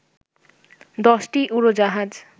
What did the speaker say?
১০টি উড়োজাহাজ